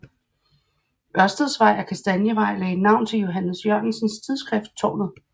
Ørsteds Vej og Kastanievej lagde navn til Johannes Jørgensens tidsskrift Tårnet